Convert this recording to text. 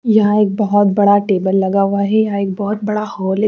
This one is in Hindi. यहाँ एक बहुत बड़ा टेबल लगा हुआ है यहाँ एक बहुत बड़ा हॉल है।